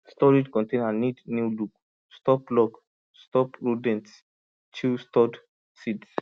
storage container need new lock stop lock stop rodents chew stored seeds